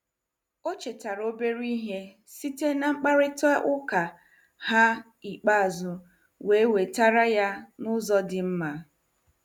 O chetaara obere ihe site na mkparịta ụka ha ikpeazụ wee wetara ya n'ụzọ dị mma.